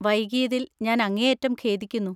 വൈകിയതിൽ ഞാൻ അങ്ങേയറ്റം ഖേദിക്കുന്നു.